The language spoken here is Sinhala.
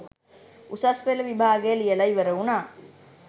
උසස් පෙළ විභාගය ලියලා ඉවර වුණා